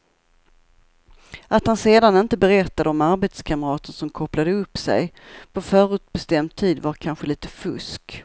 Att han sedan inte berättade om arbetskamraten som kopplade upp sig på en förutbestämd tid var kanske lite fusk.